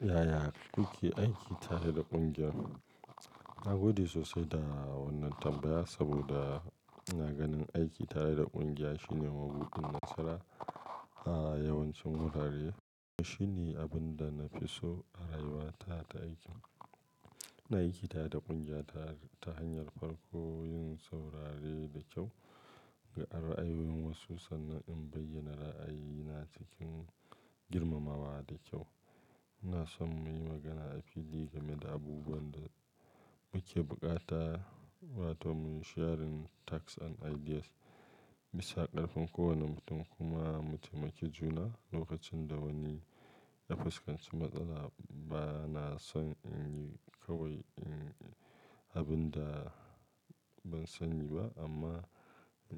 Yaya kuke aiki tare da ƙungiyar? Na gode sosai da wannan tambaya saboda ina ganin aiki tare da ƙungiya shine mabuɗin nasara a yawancin wurare. Shine abin da na fi so a rayuwa ta ta aikin. Na aiki tare da ƙungiya ta hanyar farko yin saurare da kyau ga ra'ayoyin wasu sannan in bayyana ra'ayina cikin girmamawa da kyau. Ina son mu yi magana a fili game da abubuwan da muke bukata wato mun sharing tasks and ideas. Bisa ƙarfin kowane mutum kuma mu taimaki juna lokacin da wani ya fuskanci matsala. Bana son in yi kawai abin da ban sani ba amma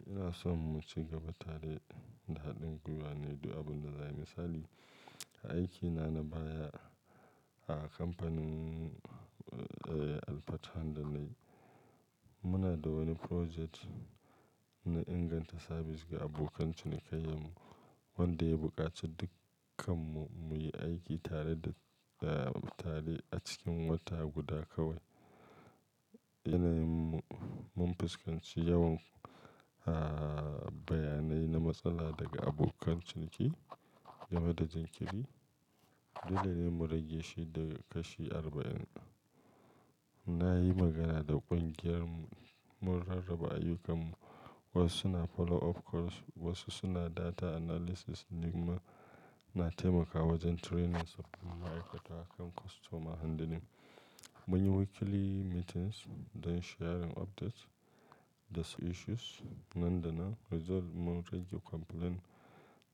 ina son mu cigaba tare da haɗin gwiwa ne duk abin da zai yi misali. A aiki na na baya a kamfanin eh Alfatan da na yi. Muna da wani project na inganta sabis ga abokan cinikayyanmu wanda ya buƙaci dukkanmu mu yi aiki tare da ehm tare a cikin wata guda kawai. Ina yin mun fuskanci yawan ahh bayanai na matsala daga abokan ciniki game da jinkiri. Dole ne mu rage shi daga kashi arba'in. Na yi magana da ƙungiyar mu rarraba ayyukan mu. Wasu suna follow up calls, wasu suna data analysis, ni kuma na taimakawa wajen training sabbin ma'aikata kan customer handling. Mun yi weekly meetings don sharing updates da su issues nan da nan. Result mun rage complaint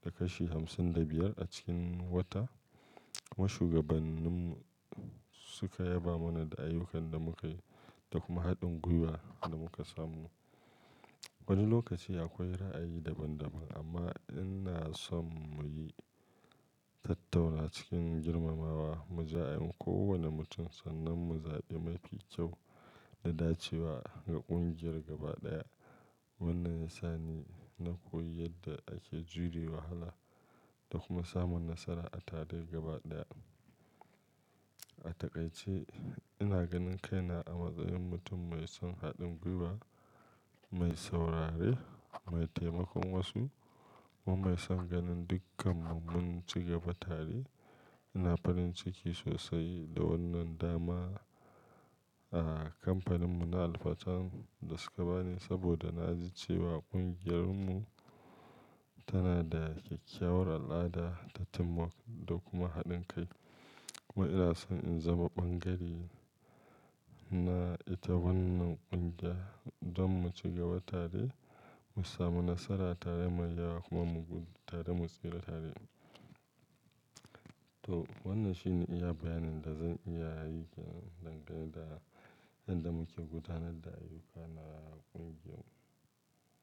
daga kashi hamsin da biyar a cikin wata. Ma shugabannin mu suka yaba mana da ayyukan da muka yi da kuma haɗin gwiwa da muka samu. Wani lokaci akwai ra'ayi daban daban amma ina son mu yi tattauna cikin girmamawa, mu ja in kowane mutum sannan mu zaɓi mafi kyau da dacewa ga ƙungiyar gaba ɗaya. Wannan ya sa ni na koyi yadda ake jure wahala da kuma samun nasara a tare gaba ɗaya. A takaice ina ganin kaina a matsayin mutum mai son haɗin gwiwa, mai saurare, mai taimakon wasu kuma mai son ganin dukkanmu mun cigaba tare. Ina farin ciki sosai da wannan dama a kamfanin mu na Alfatan da suka bani saboda na ji cewa ƙungiyar mu tana da ƙyakkyawar al'ada ta teamwork da kuma haɗin kai. Kuma ina son in zama ɓangare na ita wannan ƙungiya don mu ci gaba tare, mu sami nasara tare mai yawa kuma mu gudu tare mu tsira tare. To wannan shine iya bayanin da zan iya kenan dangane da yadda muke gudanar da ayyuka na ƙungiyar mu.